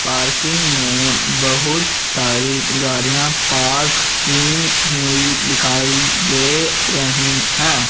Parking में बहुत सारी गाड़ियां पार्क की हुई दिखाई दे रही हैं।